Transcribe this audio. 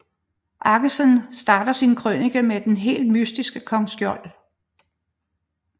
Aggesen starter sin krønike med den helt mytiske kong Skjold